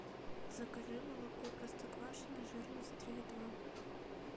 закажи молоко простоквашино жирность три и два